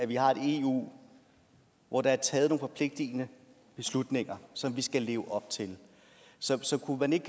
vi har et eu hvor der er taget nogle forpligtigende beslutninger som vi skal leve op til så så kunne man ikke